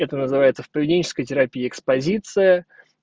это называется в поведенческой терапии экспозиция